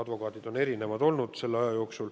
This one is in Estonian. Advokaate on selle aja jooksul olnud erinevaid.